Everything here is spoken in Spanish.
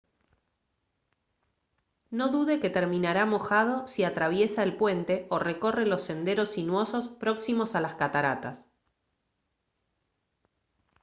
no dude que terminará mojado si atraviesa el puente o recorre los senderos sinuosos próximos a las cataratas